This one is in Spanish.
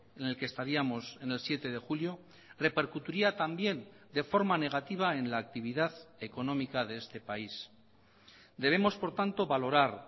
en el que estaríamos en el siete de julio repercutiría también de forma negativa en la actividad económica de este país debemos por tanto valorar